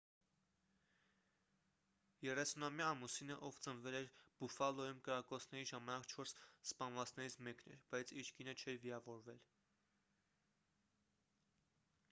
30-ամյա ամուսինը ով ծնվել էր բուֆալոյում կրակոցների ժամանակ չորս սպանվածներից մեկն էր բայց իր կինը չէր վիրավորվել